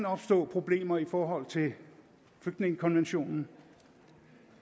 opstå problemer i forhold til flygtningekonventionen